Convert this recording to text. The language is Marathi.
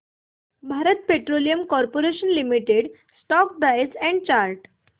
Bharat petroleum corporation limited stock price and chart